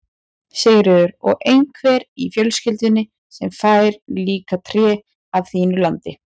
Sigríður: Og einhver í fjölskyldunni sem fær líka tré af þínu landi?